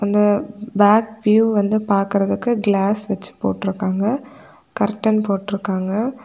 இந்த back view வந்து பாக்குறதுக்கு கிளாஸ் வெச்சு போட்டீர்காங்க. கர்ட்டன் போட்டீர்காங்க.